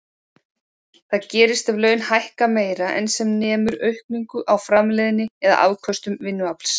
Það gerist ef laun hækka meira en sem nemur aukningu á framleiðni eða afköstum vinnuafls.